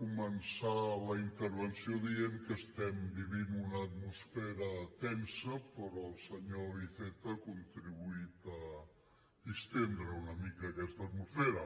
començar la intervenció dient que estem vivint una atmosfera tensa però el senyor iceta ha contribuït a distendre una mica aquesta atmosfera